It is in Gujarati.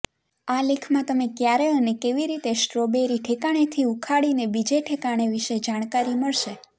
આ લેખમાં તમે ક્યારે અને કેવી રીતે સ્ટ્રોબેરી ઠેકાણેથી ઉખાડીને બીજે ઠેકાણે વિશે જાણકારી મળશે